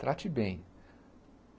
Trate bem.